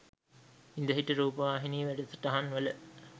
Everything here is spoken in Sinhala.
ඉඳහිට රූපවාහිනී වැඩ සටහන්වල